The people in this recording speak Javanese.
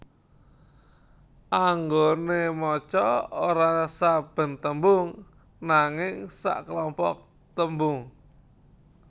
Anggone maca ora saben tembung nanging saklompok tembung